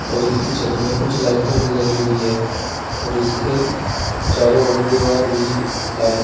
और इसकी छत में कुछ लाइटें भी लगी हुई है और इसके चारों ओर दीवार भी है।